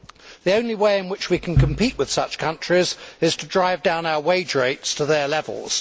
The only way in which we can compete with such countries is to drive down our wage rates to their levels.